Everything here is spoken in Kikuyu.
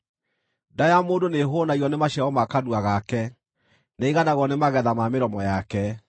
Nda ya mũndũ nĩĩhũũnagio nĩ maciaro ma kanua gake; nĩaiganagwo nĩ magetha ma mĩromo yake.